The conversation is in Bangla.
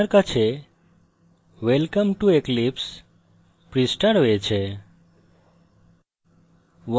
আপনার কাছে welcome to eclipse পৃষ্ঠা রয়েছে